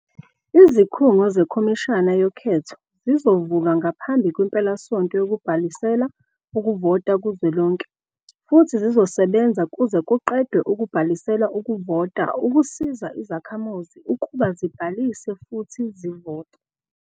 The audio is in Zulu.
Izikhungo zeKhomishana yoKhetho zizovulwa ngaphambi kwempelasonto yokubhalisela ukuvota kuzwelonke futhi zizosebenza kuze kuqedwe ukubhalisela ukuvota ukusiza izakhamuzi ukuba zibhalise futhi zivote.